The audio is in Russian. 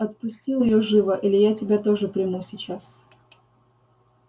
отпустил её живо или я тебя тоже приму сейчас